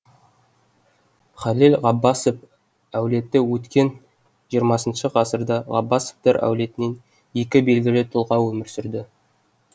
халел ғаббасов әулеті өткен жиырмасыншы ғасырда ғаббасовтар әулетінен екі белгілі тұлға өмір сүрді